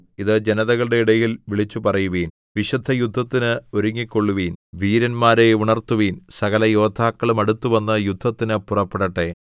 ഇത് ജനതകളുടെ ഇടയിൽ വിളിച്ചുപറയുവിൻ വിശുദ്ധയുദ്ധത്തിന് ഒരുങ്ങിക്കൊള്ളുവീൻ വീരന്മാരെ ഉണർത്തുവിൻ സകലയോദ്ധാക്കളും അടുത്തുവന്ന് യുദ്ധത്തിന് പുറപ്പെടട്ടെ